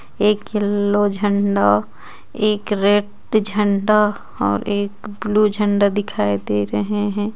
एक येलो झंडों एक रेड झंडों और एक ब्लू झंडों दिखाई दे रहे हैं.